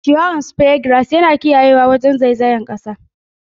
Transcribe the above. Ciyawar Speargrass yana taimakawa wajen kiyaye zaizayar kasa.